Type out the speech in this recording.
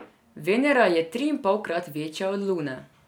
Venera je triinpolkrat večja od Lune.